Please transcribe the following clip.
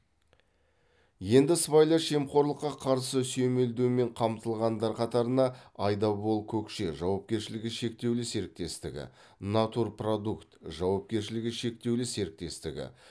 енді сыбайлас жемқорлыққа қарсы сүйемелдеумен қамтылғандар қатарына айдабол көкше жауапкершілігі шектеулі серіктестігі натур продукт жауапкершілігі шектеулі серіктестігі